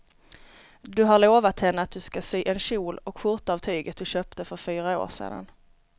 Du har lovat henne att du ska sy en kjol och skjorta av tyget du köpte för fyra år sedan.